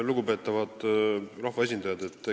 Lugupeetavad rahvaesindajad!